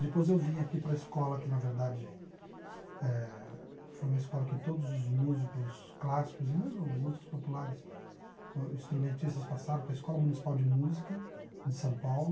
Depois eu vim aqui para a escola que, na verdade eh, foi uma escola que todos os músicos clássicos e mesmo músicos populares, instrumentistas passaram, que é a Escola Municipal de Música de São Paulo.